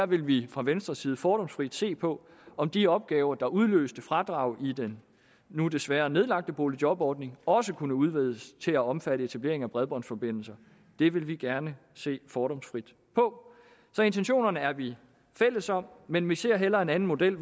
vil vi fra venstres side fordomsfrit se på om de opgaver der udløste fradrag i den nu desværre nedlagte boligjobordning også kunne udvides til at omfatte etablering af bredbåndsforbindelser det vil vi gerne se fordomsfrit på så intentionerne er vi fælles om men vi ser hellere en anden model